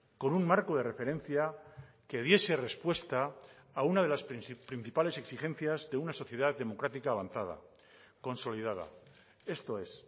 con un marco de referencia que diese respuesta a una de las principales exigencias de una sociedad democrática avanzada consolidada esto es